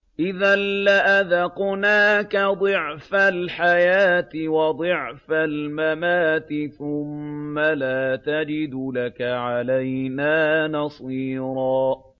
إِذًا لَّأَذَقْنَاكَ ضِعْفَ الْحَيَاةِ وَضِعْفَ الْمَمَاتِ ثُمَّ لَا تَجِدُ لَكَ عَلَيْنَا نَصِيرًا